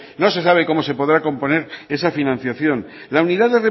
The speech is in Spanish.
no se sabe cómo se podrá componer esa financiación la unidad